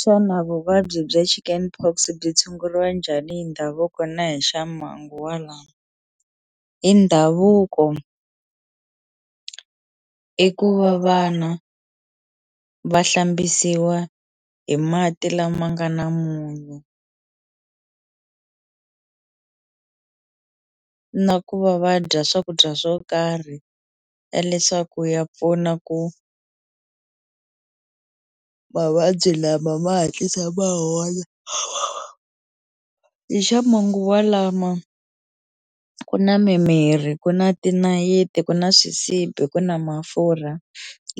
Xana vuvabyi bya chicken pox byi tshunguriwa njhani hi ndhavuko na hi xamanguva lama hi ndhavuko i ku va vana va hlambisiwa hi mati lama nga na munyu na ku va va dya swakudya swo karhi ya leswaku ya pfuna ku mavabyi lama ma hatlisa ma hola hi xamanguva lama ku na mimirhi ku na tinayiti ku na swisibi ku na mafurha